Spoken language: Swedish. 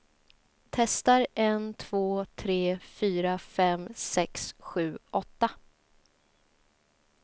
Testar en två tre fyra fem sex sju åtta.